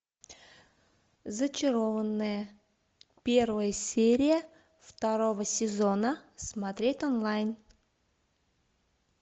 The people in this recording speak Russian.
зачарованные первая серия второго сезона смотреть онлайн